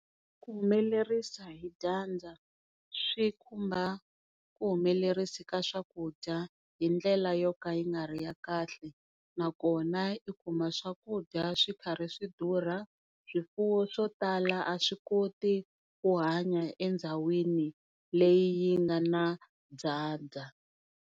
Vuhumelerisi hi dyandza swi khumba vuhumelerisi ka swakudya hindlela yo ka yi nga ri ya kahle, nakona i kuma swakudya swi karhi swi durha. Swifuwo swo tala a swi koti ku hanya endhawini leyi yi nga na dyandza.